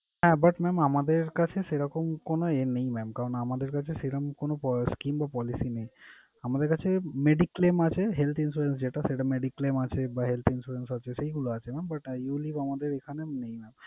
হ্যাঁ but আমাদের কাছে সেরকম কোন ইয়ে নেই mam । কারণ আমাদের কাছে সেরম কোন scheme কিংবা policy নেই। আমাদের কাছে mediclaim আছে, health insurance যেটা সেটা mediclaim আছে বা health insurance আছে সেইগুলা আছে mam but ulite আমাদের এইখানে নেই mam